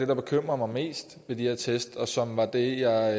der bekymrer mig mest ved de her test og som var det jeg